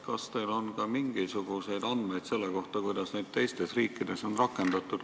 Kas teil on ka mingisuguseid andmeid selle kohta, kuidas neid teistes riikides on rakendatud?